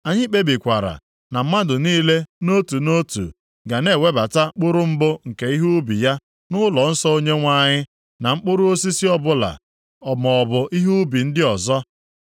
“Anyị kpebikwara na mmadụ niile nʼotu nʼotu ga na-ewebata mkpụrụ mbụ nke ihe ubi ya nʼụlọnsọ Onyenwe anyị, na mkpụrụ osisi ọbụla, maọbụ ihe ubi ndị ọzọ.